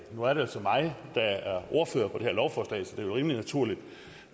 nu er det altså mig der er ordfører på det her lovforslag så det rimelig naturligt